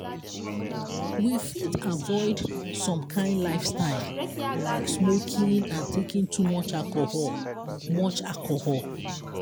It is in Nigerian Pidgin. we fit avoid some kind lifestyle like smoking and taking too much alcohol much alcohol